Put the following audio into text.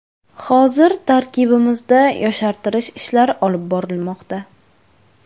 Hozir tarkibimizda yoshartirish ishlari olib borilmoqda.